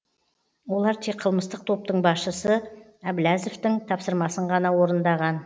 олар тек қылмыстық топтың басшысы әбләзовтің тапсырмасын ғана орындаған